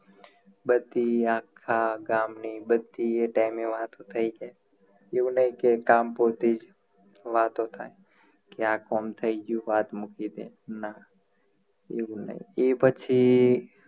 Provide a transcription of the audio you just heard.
બધી આખા ગામ ની બધી એ time એ વાતો થઇ જાય એવું નહિ કે કામ પૂરતી જ વાતો થાય ક્યાંક અમ થઈ ગયું કે વાત મૂકી દે ના એવું નહિ એ પછી